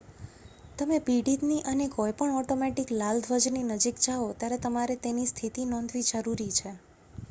તમે પીડિતની અને કોઈ પણ ઑટોમૅટિક લાલ ધ્વજની નજીક જાઓ ત્યારે તમારે તેની સ્થિતિ નોંધવી જરૂરી છે